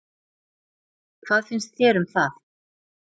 Hvað finnst þér um það?